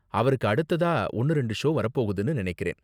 அவருக்கு அடுத்ததா ஒன்னு ரெண்டு ஷோ வரப் போகுதுனு நினைக்கிறேன்.